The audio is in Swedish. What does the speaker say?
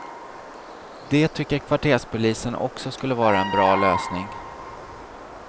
Det tycker kvarterspolisen också skulle vara en bra lösning.